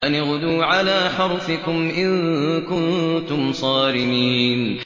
أَنِ اغْدُوا عَلَىٰ حَرْثِكُمْ إِن كُنتُمْ صَارِمِينَ